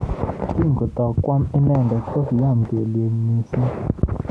Kingotoi kwam inendet kokiamei kelyek mising.